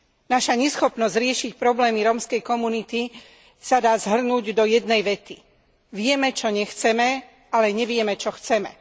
Naša neschopnosť riešiť problémy rómskej komunity sa dá zhrnúť do jednej vety Vieme, čo nechceme, ale nevieme, čo chceme.